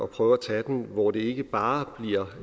prøve at tage den hvor det ikke bare bliver